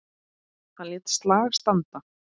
Hann lét slag standa.